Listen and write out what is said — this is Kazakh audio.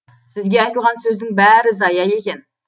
сізге айтылған сөздің бәрі зая екен